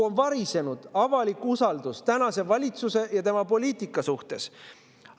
Avalik usaldus tänase valitsuse ja tema poliitika vastu on kokku varisenud.